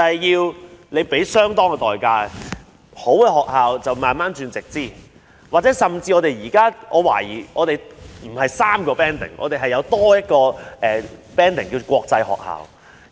優秀的學校逐步變為直資，我甚至懷疑我們的學校不止3個級別，還有另一個級別是國際學校。